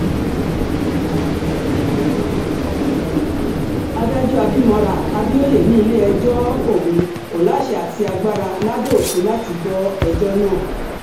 adájọ́ abimora abioye ní ilé-ẹjọ́ òun kò láṣẹ àti agbára lábẹ́ òfin láti gbọ́ ẹjọ́ náà